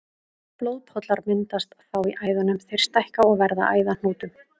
Blóðpollar myndast þá í æðunum, þær stækka og verða að æðahnútum.